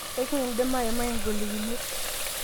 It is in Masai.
ekindim aimai ngolikinot